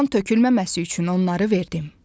Qan tökülməməsi üçün onları verdim.